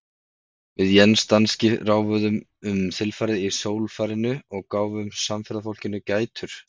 Við Jens danski ráfuðum um þilfarið í sólfarinu og gáfum samferðafólkinu gætur.